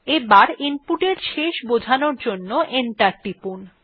এবার ইনপুটের শেষ বোঝানোর জন্য এন্টার টিপুন